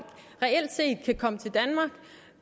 reelt set kan komme til danmark